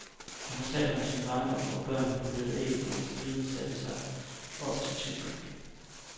Han fortalte om sin barndom, hvor børnene polerede æg, mens pigen satte op til tykmælk.